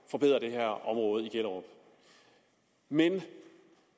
forbedre det her område i gellerup men